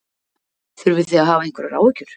Þurfið þið að hafa einhverjar áhyggjur?